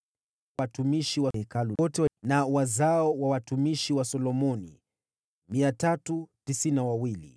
Watumishi wa Hekalu wote na wazao wa watumishi wa Solomoni 392